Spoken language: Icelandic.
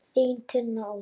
Þín, Tinna Ósk.